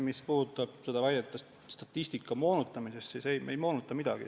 Mis puudutab väidet statistika moonutamisest, siis ei, me ei moonuta midagi.